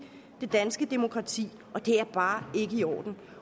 det danske demokrati og det er bare ikke i orden